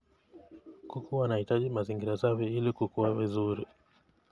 Kuku wanahitaji mazingira safi ili kukua vizuri.